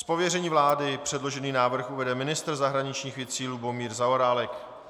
Z pověření vlády předložený návrh uvede ministr zahraničních věcí Lubomír Zaorálek.